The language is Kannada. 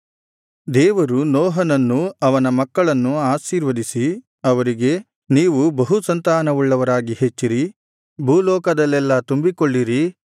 ದೇವರು ನೋಹನನ್ನೂ ಅವನ ಮಕ್ಕಳನ್ನೂ ಆಶೀರ್ವದಿಸಿ ಅವರಿಗೆ ನೀವು ಬಹುಸಂತಾನವುಳ್ಳವರಾಗಿ ಹೆಚ್ಚಿರಿ ಭೂಲೋಕದಲ್ಲೆಲ್ಲಾ ತುಂಬಿಕೊಳ್ಳಿರಿ